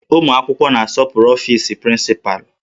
Ụmụ akwụkwọ na-asọpụrụ ọfis prịncịpalụ